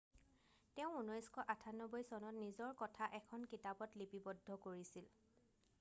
তেওঁ 1998 চনত নিজৰ কথা এখন কিতাপত লিপিবদ্ধ কৰিছিল